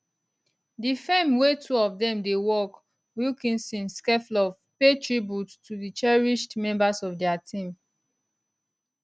di firm wia two of dem dey work wilkinson stekloff pay tribute to di cherished members of dia team